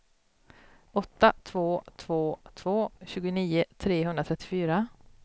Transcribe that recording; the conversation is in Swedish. åtta två två två tjugonio trehundratrettiofyra